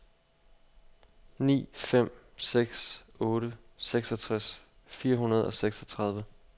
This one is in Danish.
ni fem seks otte seksogtres fire hundrede og seksogtredive